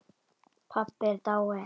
Pabbi er dáinn